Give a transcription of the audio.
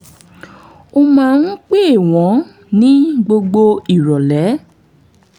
ó máa ń pè wọ́n ní gbogbo ìrọ̀lẹ́